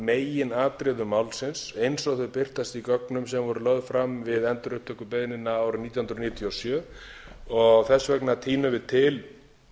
meginatriðum málsins eins og þau birtast í gögnum sem voru lögð fram við endurupptökubeiðnina árið nítján hundruð níutíu og sjö þess vegna tínum við til